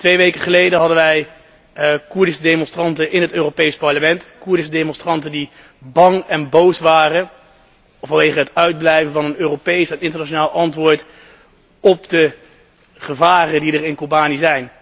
Twee weken geleden hadden wij Koerdische demonstranten in het Europees Parlement, Koerdische demonstranten die bang en boos waren vanwege het uitblijven van een Europees en internationaal antwoord op de gevaren in Kobani.